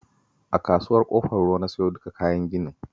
A Kasuwar Ƙofar Ruwa na siyo duka kayan ginin